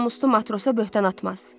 Namuslu matrosa böhtan atmaz.